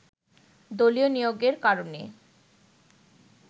দলীয় নিয়োগের কারণে